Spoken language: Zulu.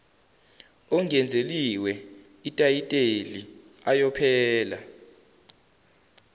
ongenzeliwe itayiteli ayophela